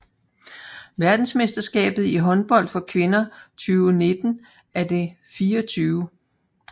Verdensmesterskabet i håndbold for kvinder 2019 er det 24